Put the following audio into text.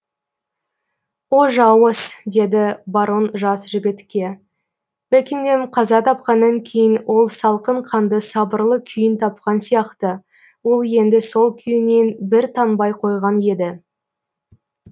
о жауыз деді барон жас жігітке бекингэм қаза тапқаннан кейін ол салқын қанды сабырлы күйін тапқан сияқты ол енді сол күйінен бір танбай қойған еді